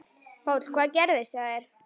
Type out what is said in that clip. Páll: Hvað gerðist hjá þér?